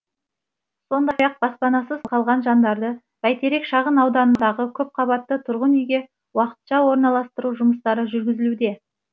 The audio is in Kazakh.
сондай ақ баспанасыз қалған жандарды бәйтерек шағын ауданындағы көпқабатты тұрғын үйге уақытша орналастыру жұмыстары жүргізілуде